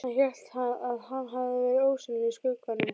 Hann hélt að hann hefði verið ósýnilegur í skugganum!